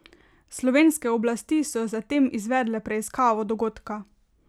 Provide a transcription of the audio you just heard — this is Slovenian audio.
Slovenske oblasti so zatem izvedle preiskavo dogodka.